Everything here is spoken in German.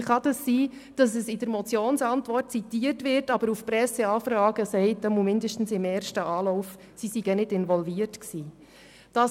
Wie kann es sein, dass es in der Motionsantwort zitiert wird, aber dass es auf Presseanfragen zumindest im ersten Anlauf sagt, es sei nicht involviert gewesen?